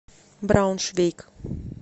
брауншвейг